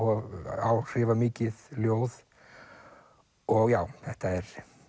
áhrifamikið ljóð og já þetta er